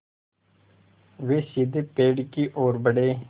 वे सीधे पेड़ की ओर बढ़े